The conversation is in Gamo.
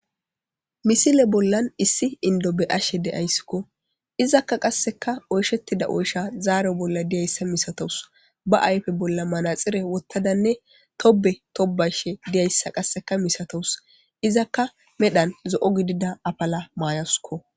Misile bollan issi indo be ashe de'ayssikko izakka qasseka oyshettida oysha zaaro bolla diyayssa misatowus ba ayfe bolla manaxire wottadanne tobe tobayshe diyayssa qasseka misatowus izakka medhan zo'o gidida apala maayoskko.